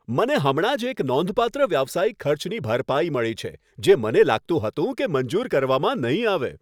મને હમણાં જ એક નોંધપાત્ર વ્યવસાયિક ખર્ચની ભરપાઈ મળી છે, જે મને લાગતું હતું કે મંજૂર કરવામાં નહીં આવે.